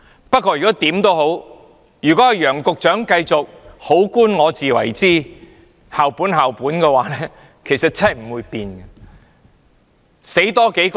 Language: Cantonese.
不過，如果楊局長繼續"好官我自為之"，繼續"校本、校本"，情況真的不會有改變。